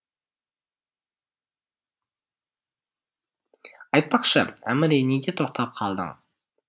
айтпақшы әміре неге тоқтап қалдың